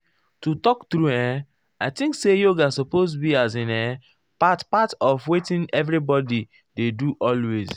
to talk true[um]i think say yoga supose be as in[um]part part of wetin everybodi dey do always.